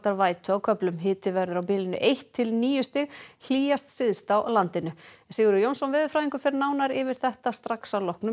vætu á köflum hiti verður á bilinu eitt til níu stig hlýjast syðst á landinu Sigurður Jónsson veðurfræðingur fer nánar yfir þetta strax að loknum